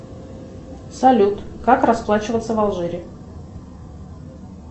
салют как расплачиваться в алжире